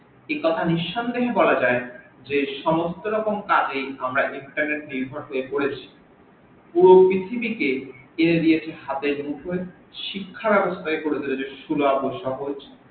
একথা নিশন্দেহে বলা যাই যে সমস্ত রকম কাজেই আমরা internet এর নির্ভর হয়ে পরেছি ও পৃথিবীকে হাত এর মুঠোয় শিক্ষা সুলভ ও সহজ